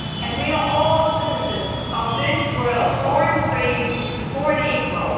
We are all citizens of this world, born free and born equal.